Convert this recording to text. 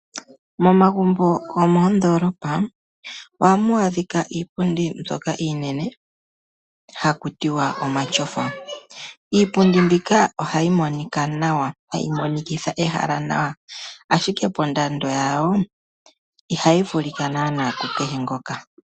Momagumbo gomoondolopa ohamu adhika iipundi mbyoka iinene haku tiwa omatyofa. Iipundi mbika ohayi monika nawa, tayi monikitha ehala nawa, ashike ondando yawo ihayi vulika naanaa kukehe gumwe.